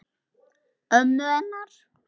Ömmu hennar?